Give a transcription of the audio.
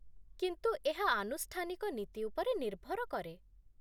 କିନ୍ତୁ ଏହା ଆନୁଷ୍ଠାନିକ ନୀତି ଉପରେ ନିର୍ଭର କରେ